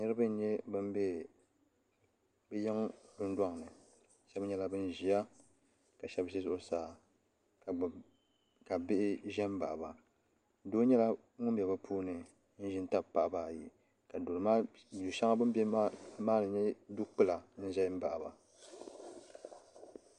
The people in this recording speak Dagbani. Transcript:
Nirina n nye ban be bɛ yiŋ dundoŋni sheba nyɛla ban ʒia ka sheba ʒi zuɣusaa ka bihi ʒɛ m baɣaba doo nyɛla ŋun bɛ bɛ puuni n ʒin tabi paɣaba ayi ka du sheŋa ni bini be maa nyɛ dukpila n ʒɛ m baɣiba.